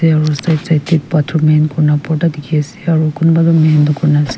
aro side side tae photor mahin kurina borta dikhiase aro kunba toh mahin nakurina ase.